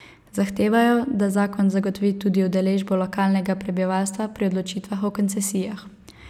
Zahtevajo, da zakon zagotovi tudi udeležbo lokalnega prebivalstva pri odločitvah o koncesijah.